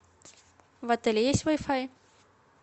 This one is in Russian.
в отеле есть вай фай